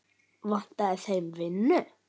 Vantaði þeim vinnu?